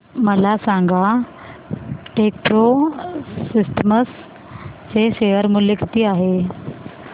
मला सांगा Techpro Systems चे शेअर मूल्य किती आहे